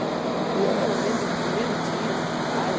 E era... O senhor lembra do primeiro dia de trabalho?